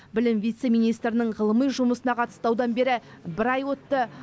білім вице министрінің ғылыми жұмысына қатысты даудан бері бір ай өтті